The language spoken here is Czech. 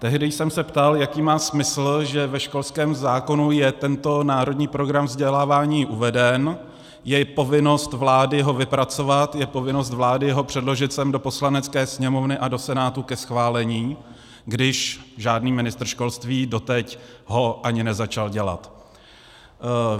Tehdy jsem se ptal, jaký má smysl, že ve školském zákonu je tento národní program vzdělávání uveden, je povinnost vlády ho vypracovat, je povinnost vlády ho předložit sem do Poslanecké sněmovny a do Senátu ke schválení, když žádný ministr školství doteď ho ani nezačal dělat.